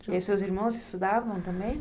E os seus irmãos estudavam também?